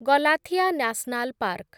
Galathea national park